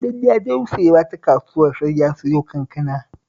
In dai ya je wucewa ta kasuwar sai ya siyo kankana